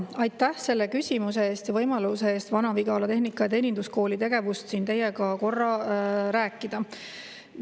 Aitäh selle küsimuse eest ja võimaluse eest Vana-Vigala Tehnika- ja Teeninduskooli tegevusest siin teiega korra rääkida!